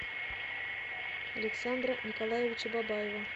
александра николаевича бабаева